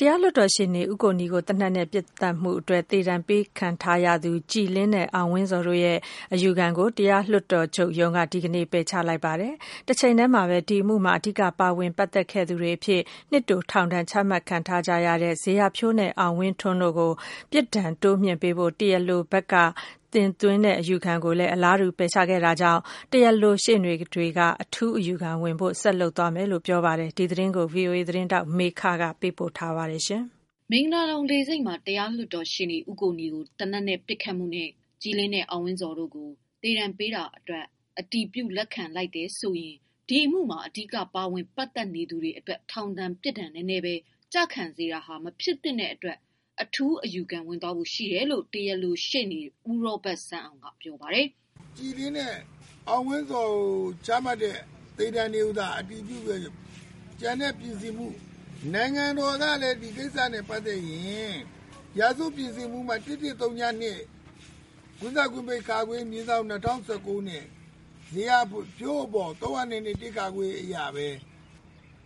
တရားလွှတ်တော်ရှေ့နေ ဦးကိုနီကို သေနတ်နဲ့ ပစ်သတ်ခဲ့မှုနဲ့ သေဒဏ်ပေးခံထားရတဲ့ ကြည်လင်း နဲ့ အောင်ဝင်းဇော် တို့ရဲ့ အယူခံကို တရားလွှတ်တော် ချုပ်ရုံးက ဒီကနေ့ ပယ်ချလိုက်သလို အမှုမှာ အဓိက ပါဝင် ပတ်သက်ခဲ့သူတွေ အဖြစ် နှစ်တိုထောင်ဒဏ်ချမှတ်ခံထားရတဲ့ ဇေယျာဖြိုးနဲ့ အောင်ဝင်းထွန်းတို့ အတွက် ပြစ်ဒဏ်တိုးမြှင့်ပေးဖို့ တရားလိုဘက်က တင် သွင်းတဲ့ အယူခံကိုပါ ပယ်ချခဲ့ပါတယ်။ တရားလိုဘက်က ရှေ့နေတွေက တော့ အထူးအယူခံဝင်ဖို့ ဆက်လုပ်သွားမယ်လို့ ပြောပါတယ်။ ဒီသတင်းကို ဗွီအိုအေသတင်းထောက်မေခက ပေးပို့ထားပါတယ်။ မင်္ဂလာဒုံလေဆိပ်မှာ တရားလွှတ်တော်ရှေ့နေ ဦးကိုနီကို သေနတ်နဲ့ ပစ်သတ်ခဲ့မှုနဲ့ ကြည်လင်း နဲ့ အောင်ဝင်းဇော် တို့ကို သေဒဏ်ပေးတာအတွက် အတည်ပြုလက်ခံလိုက်တယ် ဆိုရင် ဒီအမှုမှာ အဓိက ပါဝင် ပတ်သက်နေသူတွေ အတွက် ထောင်ဒဏ် ပြစ်ဒဏ်နည်းနည်းပဲ ကျခံစေတာဟာ မဖြစ်သင့်တဲ့အတကွ် အထူးအယူခံ ဝင်သွားဖို့ ရှိတယ်လို့ တရားလိုရှေ့နေ ဦးရောဘတ်စန်းအောင်က ပြောပါတယ်။ “ ကြည်လင်းနဲ့ အောင်ဝင်းဇော်ကို ချမှတ်တဲ့ သေဒဏ်တွေကို သာ အတည်ပြုခဲ့ရင် ကျန်တဲ့ ပြင်ဆင်မှု နိုင်ငံတော်ကလည်း ဒီကိစ္စနဲ့ ပတ်သက်ရင် ရာဇဝတ်ပြင်ဆင်မှု ပုဒ်မ ၁၁၀၂ (ခ /၂၀၁၉ ) ဇေယျာဖြိုးအပေါ် ၃၀၂(ခ) အရ ပဲ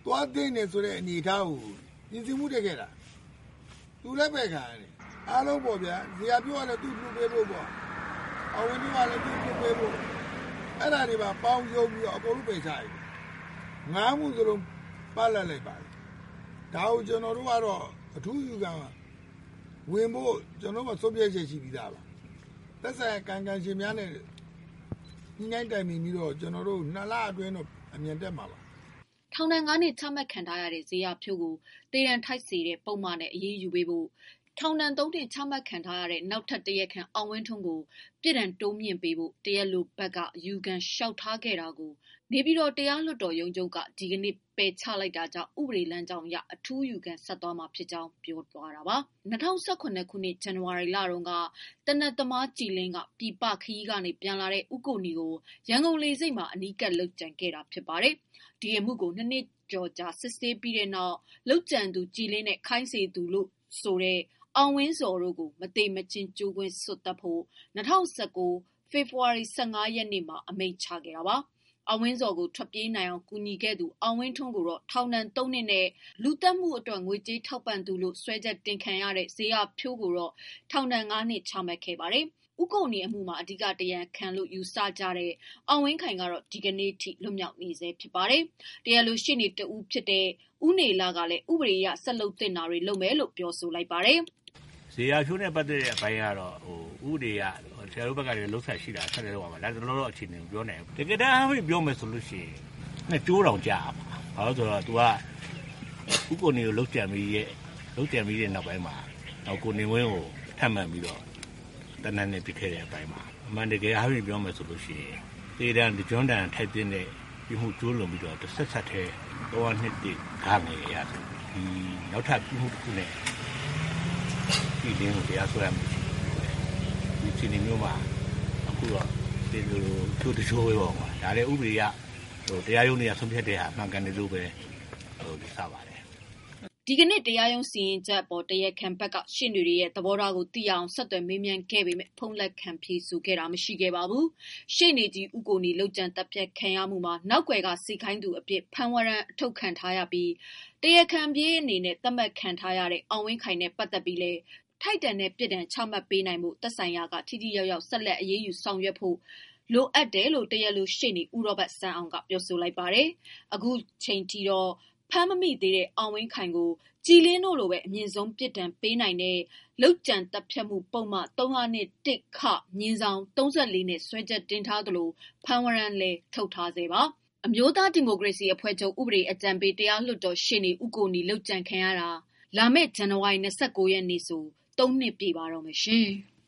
သွားသင့်တယ်ဆိုတဲ့ အနေအထား ကို ပြင်ဆင်မှုတက်ခဲ့တာ ။ အခုလည်း ပယ်ခံရတယ်။ အားလုံးပေါ့ဗျာ ဇေယျာဖြိုးကတော့ သူ့ကို လွှတ်ပေးဖို့ပေါ့ အောင်ဝင်းဇော်ကလည်း လွှတ်ပေးဖု့ိ အဲ့ဒါတွေပါ ပေါင်းပြီးတော့ အားလုံး ပယ်ချလိုက်တာ ၅ မှုလုံး ပ လပ်လိုက်ပါတယ်။ ဒါကို ကျွန်တော်တို့ကတော့ အထူးအယူခံဝင်ဖို့ ကျွန်တော်တို့ မှာ ဆုံးဖြတ်ချက် ရှိပြီးသားပါ။ သက်ဆိုင်ရာ ကာယံကံရှင်များနဲ့ ညှိနှိုင်း တိုင်ပင်ပြီးတော့ ကျွန်တော်တို့ ၂ လ အတွင်း အမြန်တက်မှာပါ။” ထောင်ဒဏ် ၅ နှစ်ချမှတ်ခံထားရတဲ့ ဇေယျာဖြိုးကို သေဒဏ်ထိုက်စေတဲ့ ပုဒ်မနဲ့ အရေးယူပေးဖို့၊ ထောင်ဒဏ် ၃နှစ်ချမှတ်ခံထားရတဲ့ နောက်ထပ်တရားခံ အောင်ဝင်းထွန်းကို ပြစ်ဒဏ်တိုးမြှင့်ပေးဖို့ တရားလိုဘက်က အယူခံလျှောက်ထားခဲ့တာကို နေပြည်တော် တရားလွှတ်တော်ချုပ်ရုံးက ဒီကနေ့ ပယ်ချလိုက်တာကြောင့် ဥပဒေလမ်းကြောင်းအရ အထူးအယူခံဆက်တင်သွား မှာ ဖြစ်ကြောင်း ပြောတာပါ။ ၂၀၁၇ ခုနှစ် ဇန်ဝါရီလတုန်းက သေနတ်သမား ကြည်လင်းက ပြည်ပခရီး ကနေပြန်လာတဲ့ ဦးကိုနီကိုရန်ကုန်လေဆိပ်မှာ အနီးကပ် လုပ်ကြံခံတာ ဖြစ်ပါတယ်။ ဒီအမှုကို နှစ်နှစ်ကျော်ကြာ စစ်ဆေးပြီးတဲ့နောက် လုပ်ကြံသူ ကြည်လင်းနဲ့ ခိုင်းစေသူလို့ဆိုတဲ့ အောင်ဝင်းဇော် တို့ကို မသေမချင်းကြိုးကွင်းစွပ်သတ်ဖို့၂၀၁၉ ဖေဖော်ဝါရီ ၁၅ ရက်နေ့မှာ အမိန့်ချ ခဲ့ တာပါ။ အောင်ဝင်းဇော်ကို ထွက်ပြေးနိုင်အောင်ကူညီခဲ့သူ အောင်ဝင်းထွန်းကို ထောင်ဒဏ်သုံးနှစ်နဲ့ လူသတ်မှု အတွက်ငွေကြေးထောက်ပံသူလို့ စွဲချက်တင်ခံရတဲ့ ဇေယျာဖြိုး ကိုတော့ ထောင်ဒဏ်ငါးနှစ် ချမှတ်ခဲ့တာပါ။ ဦးကိုနီအမှုမှာ အဓိက တရားခံလို့ ယူဆနေကြတဲ့ အောင်ဝင်းခိုင်ကတော့ ဒီကနေ့အထိ လွတ်မြောက်နေဆဲဖြစ်ပါတယ်။ တရားလိုရှေ့နေတဦးဖြစ်တဲ့ ဦးနေလကလည်း ဥပဒေ အရဆက်လုပ်သင့်တာတွေကို လုပ်ရမယ်လို့ ပြောပါတယ်။ “ဇေယျာဖြိုးနဲ့ပတ်သတ်တဲ့ အပိုင်းကတော့ ဥပဒေအရ ဆက်လုပ်သင့်တာ ဆက်လုပ်ရမယ်။ လတ်တလောတော့ အခြေအနေမပြောနိုင်ဘူး။ တကယ်တမ်းပြောရရင်တော့ ၂ကြိုးတောင်ကျရမှာ။ ဦးကိုနီကိုလုပ်ကြံပြီးတော့ကို ကိုနေဝင်းကို ဆက်လုပ်ကြံတယ်။ အမှန်တကယ်အားဖြင့်ပြောရရင်တော့ သေဒဏ်အပြင်ကို တဆက်တည်း ၃၀၂(၁)(ဂ) အရ နောက်ထပ် ပြစ်မှုတခုနဲ့ ကြည်လင်းကိုတရားစွဲရလို့ရပေမယ့် ခုတော့တကြိုးထဲအပြစ်ပေးတော့ ဒါလည်း ဥပဒေအရ တရားရုံးတွေ ဆုံးဖြတ်တာ မှန်ကန်တယ်လို့ ယူဆပါတယ်” ဒီကနေ့ တရားရုံးစီရင်ချက်အပေါ် တရားခံဘက်က ရှေ့နေတွေရဲ့ သဘောထားကို သိရအောင် ဆက်သွယ်မေး မြန်းခဲ့ ပေမယ့် ဖုန်းလက်ခံ ဖြေဆိုတာမရှိခဲ့ပါဘူး။ ရှေ့နေကြီးဦးကိုနီ လုပ်ကြံသတ်ဖြတ်ခံရမှုမှာ နောက်ကွယ်က စေခိုင်းသူအဖြစ် ဖမ်းဝရမ်း အထုတ်ခံထား ရပြီး တရားခံပြေးသတ်မှတ်ခံထားရတဲ့ အောင်ဝင်းခိုင်နဲ့ပတ်သက်ပြီး လည်း ထိုက်တန်တဲ့အပြစ်ဒဏ်ချမှတ် နိုင်ဖို့ သက်ဆိုင်ရာက ထိထိရောက်ရောက် ဆက်လက် အရေးယူ ဆောင်ရွက်ဖို့ သင့်တယ်လို့ တရားလို ရှေ့နေ ဦးရောဘတ်စန်းအောင်က ပြောပါတယ်။ အခုချိန်အထိ ဖမ်းမမိသေးတဲ့ အောင်ဝင်းခိုင်ကို ကြည်လင်းတို့လိုပဲ အမြင့်ဆုံး သေဒဏ်ပေးနိုင်တဲ့ လုပ်ကြံသတ်ဖြတ်မှု ပုဒ်မ (၃၀၂)(၁)(ခ)/ ၃၄ နဲ့စွဲချက် တင်ထားသလို ဖမ်းဝရမ်းလည်း ထုတ်ထားပါတယ်။ အမျိုးသားဒီမိုကရေစီအဖွဲ့ ချုပ် ဥပဒေအကြံ ပေး တရားလွှတ် တော်ရှေ့နေ ဦးကိုနီ ဟာ လုပ်ကြံခံရတာဟာ လာမယ့် ဇန်နဝါရီ ၂၉ ရက်မှာ ၃ နှစ်ပြည့်ပါတော့မယ်။